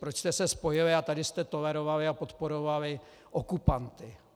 Proč jste se spojili a tady jste tolerovali a podporovali okupanty.